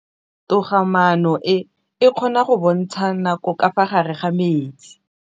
Toga-maanô e, e kgona go bontsha nakô ka fa gare ga metsi.